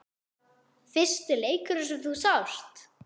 Fyrsti leikurinn sem þú sást?